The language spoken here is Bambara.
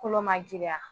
Kolo ma giriya